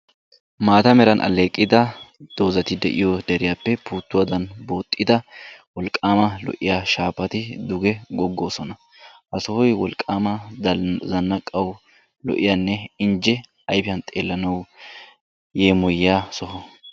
Maataa meeran aleeqida doozaati deiyo deeriyappe puutuwadan booxida wolqqama lo"'iyaa shafati duuge gogosona. Ha sohoy wolqqama zannaqqawu lo'iyaanne injje ayfiyan xeelanawu yeemoyiya soho.